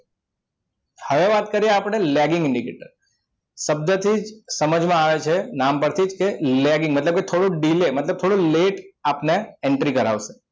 હવે વાત કરી આપણે lagging indicator શબ્દ છે સમજમાં આવે છે નામ પરથી જ કે lagging મતલબ કે મતલબ થોડું delay મતલબ થોડું late આપને entry કરાવશે